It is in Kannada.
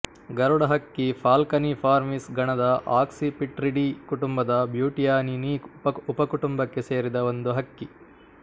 ಗರುಡ ಹಕ್ಕಿ ಫಾಲ್ಕನಿ ಫಾರ್ಮೀಸ್ ಗಣದ ಆಕ್ಸಿಪಿಟ್ರಿಡೀ ಕುಟುಂಬದ ಬ್ಯೂಟಿಯಾನಿನೀ ಉಪಕುಟುಂಬಕ್ಕೆ ಸೇರಿದ ಒಂದು ಹಕ್ಕಿ